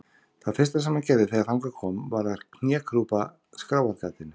Það fyrsta sem hann gerði þegar þangað kom var að knékrjúpa skráargatinu.